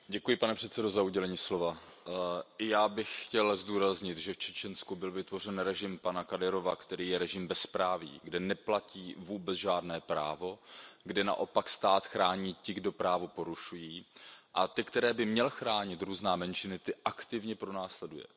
Pane předsedající, i já bych chtěl zdůraznit, že v Čečensku byl vytvořen režim pana Kadyrova, který je režimem bezpráví, kde neplatí vůbec žádné právo, kde naopak stát chrání ty, kdo právo porušují, a ty, které by měl chránit, různé menšiny, ty aktivně pronásleduje.